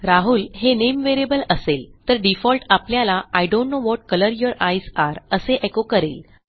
राहुल हे name variable असेल तर डिफॉल्ट आपल्याला I don't now what colour your eyes आरे असे एको करेल